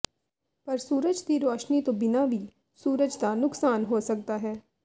ਪਰ ਸੂਰਜ ਦੀ ਰੋਸ਼ਨੀ ਤੋਂ ਬਿਨਾਂ ਵੀ ਸੂਰਜ ਦਾ ਨੁਕਸਾਨ ਹੋ ਸਕਦਾ ਹੈ